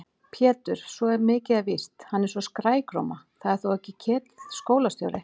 Pétur, svo mikið er víst, hann er svo skrækróma. það er þó ekki Ketill skólastjóri?